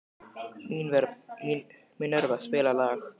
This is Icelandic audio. Minerva, spilaðu lag.